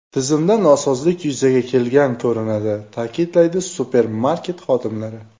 Tizimda nosozlik yuzaga kelgan ko‘rinadi”, ta’kidlaydi supermarket xodimlari.